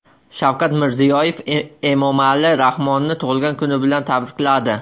Shavkat Mirziyoyev Emomali Rahmonni tug‘ilgan kuni bilan tabrikladi.